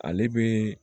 Ale bɛ